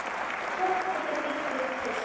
Hvort tveggja byggi upp traust.